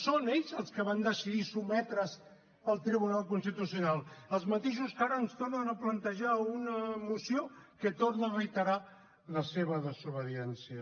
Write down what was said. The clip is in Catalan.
són ells els que van decidir sotmetre’s al tribunal constitucional els mateixos que ara ens tornen a plantejar una moció que torna a reiterar la seva desobediència